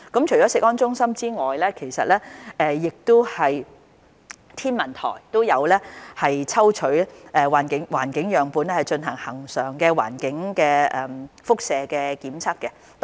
除食安中心外，香港天文台亦有抽取環境樣本進行恆常的環境輻射監測。